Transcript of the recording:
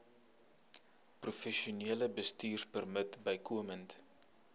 professionele bestuurpermit bykomend